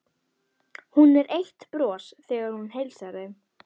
Hún er eitt bros þegar hún heilsar þeim.